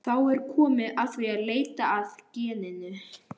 Þá er komið að því að leita að geninu.